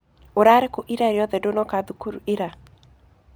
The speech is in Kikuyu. Ũrarĩ kũ ira rĩothe ndũnoka thukuru ira